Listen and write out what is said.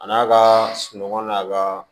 A n'a ka sunɔgɔ n'a ka